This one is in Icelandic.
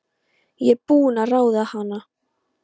Ég er búin að ráða hana!